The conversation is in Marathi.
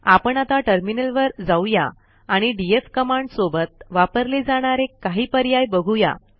आपण आता टर्मिनलवर जाऊया आणि डीएफ कमांड सोबत वापरले जाणारे काही पर्याय बघूया